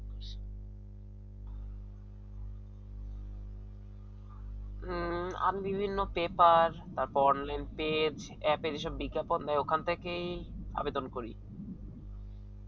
হম আমি বিভিন্ন পেপার বা online page app বিজ্ঞাপন দেয় ওখান থেকে আবেদন করি